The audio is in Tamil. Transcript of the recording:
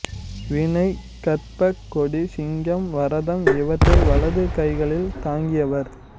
வீணை கற்பக்கொடி சிங்கம் வரதம் இவற்றை வலது கைகளில் தாங்கியவர்